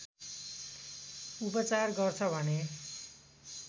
उपचार गर्छ भन्ने